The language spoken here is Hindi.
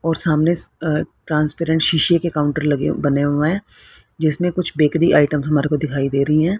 और सामने स अ ट्रांसपेरेंट सीसे के काउंटर लगे बने हुए जिसमे कुछ बेकरी आइटम्स हमारे को दिखाई दे रही है।